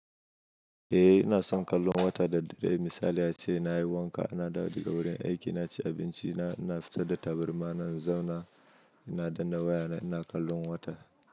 Eh ina son kallon wata da dare. Misali ace, na yi wanka, na dawo daga wurin aiki, na ci abinci, ina fitar da tabarma na zauna, ina danna wayana ina kallon wata.